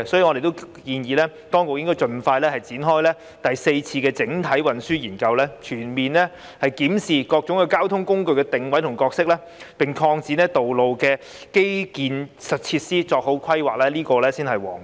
我們建議當局應該盡快展開第四次整體運輸研究，全面檢視各種交通工具的定位和角色，並擴展道路的基建設施，作好規劃，這才是皇道。